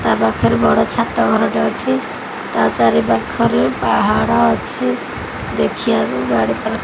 ତା ପାଖରେ ବଡ଼ ଛାତ ଘରଟେ ଅଛି ତା ଚାରିପାଖରେ ପାହାଡ ଅଛି ଦେଖିବାକୁ ଗାଡ଼ି ଫାଡ--